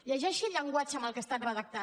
llegeixi el llenguatge amb què ha estat redactat